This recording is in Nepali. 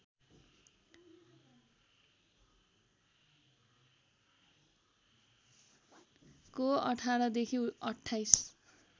को १८ देखि २८